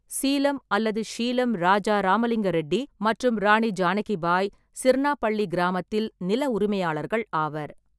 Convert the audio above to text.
சீலம் அல்லது ஷீலம் ராஜா ராமலிங்க ரெட்டி மற்றும் ராணி ஜானகி பாய், சிர்ணாபள்ளி கிராமத்தில் நில உரிமையாளர்கள் ஆவர்.